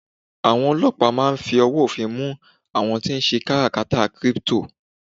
awon olopa ma n fi ọwọ ofin mu amon ti n se katakara crypto